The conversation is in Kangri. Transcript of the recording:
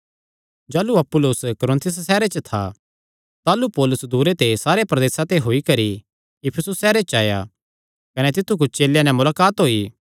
जाह़लू अपुल्लोस कुरिन्थुस सैहरे च था ताह़लू पौलुस दूरे दे सारे प्रदेसां ते होई करी इफिसुस सैहरे च आया कने तित्थु कुच्छ चेलेयां नैं मुलाकात होई